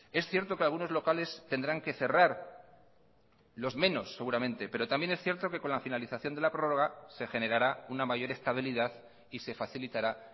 es cierto que algunos locales tendrán que cerrar los menos seguramente pero también es cierto que con la finalización de la prórroga se generará una mayor estabilidad y se facilitará